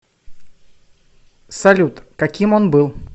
салют каким он был